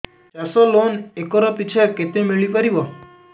ଚାଷ loan acre ପିଛା କେତେ ମିଳି ପାରିବ